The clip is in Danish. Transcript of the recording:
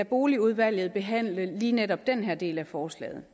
boligudvalget behandle lige netop denne del af forslaget